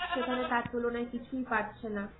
সেখানে তার তুলনায় কিছুই পাচ্ছে না